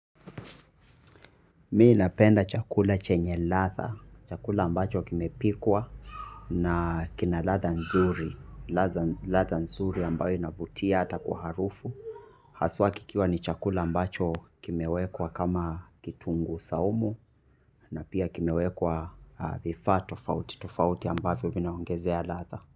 Mimi napenda chakula chenye ladha. Chakula ambacho kimepikwa na kina ladha nzuri. Ladha nzuri ambayo inavutia hata kwa harufu. Haswa kikiwa ni chakula ambacho kimewekwa kama kitunguu saumu na pia kimewekwa vifaa tofauti. Tofauti ambavyo vinaongezea ladha.